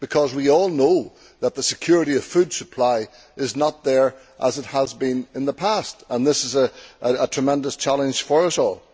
We all know that the security of food supply is not there as it has been in the past, and this is a tremendous challenge for us all.